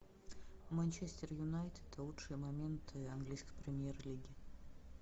манчестер юнайтед лучшие моменты английской премьер лиги